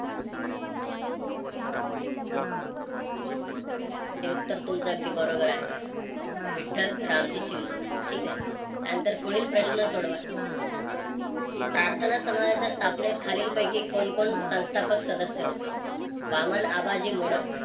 हे उत्तर तुमचं अगदी बरोबर आहे. विठ्ठल रामजी शिंदे ठीक आहे. त्यानंतर पुढील प्रश्न सोडवा. प्रार्थना समाजाची स्थापनेत खालीलपैकी कोण कोण संस्थापक सदस्य होते. वामन आबाजी मोडक,